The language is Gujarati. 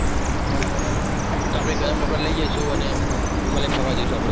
તો આપણે ગરમ કપડાં લઈ જઈશું અને હિમાલય ફરવા જઈશું આપણે